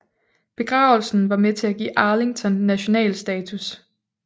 Begravelsen var med til at give Arlington nationalstatus